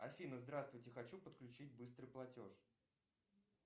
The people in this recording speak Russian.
афина здравствуйте хочу подключить быстрый платеж